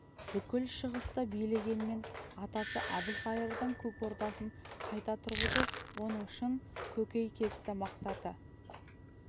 бүкіл шығысты билегенмен атасы әбілқайырдың көк ордасын қайта тұрғызу оның шын көкейкесті мақсаты